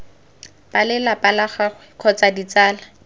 balelapa la gagwe kgotsa ditsala